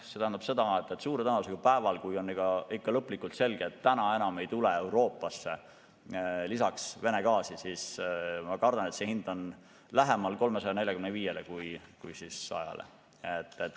See tähendab seda, et suure tõenäosusega päeval, kui on lõplikult selge, et enam ei tule Euroopasse Vene gaasi lisaks, siis ma kardan, et see hind on lähemal 345-le kui 100-le.